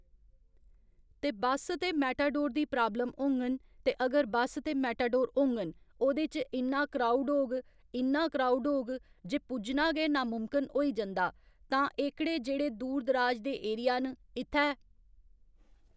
ते बस ते मेटाडोर दी प्राब्लम होङन ते अगर बस ते मेटाडोर होंङन ओह्दे च इन्ना क्राऊड होग इन्ना क्राऊड होग जे पुज्जना गै नामुमकिन होई जंदा तां एह्कड़े जेह्ड़े दूर दराज दे एरि्या न इत्थै